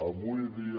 avui dia